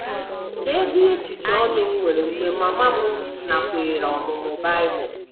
Cheedị echiche ọṅụ m nwere mgbe mama m nakweere ọmụmụ Baịbul